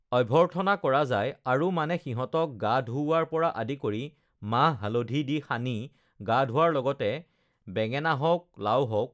অভ্যৰ্থনা কৰা যায় আৰু মানে সিহঁতক গা ধুওঁৱাৰ পৰা আদি কৰি মাহ-হালধি দি সানি গা ধুৱাৰ লগতে ugh বেঙেনা হওক লাও হওক